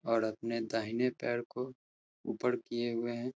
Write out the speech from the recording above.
और अपने दाहिने पैर को ऊपर किये हुए हैं।